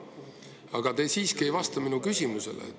Aga te siiski ei vastanud mu küsimusele.